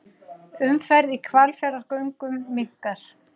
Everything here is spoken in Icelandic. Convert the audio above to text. Umferð í Hvalfjarðargöngum minnkar